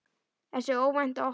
Þessi óvænta opnun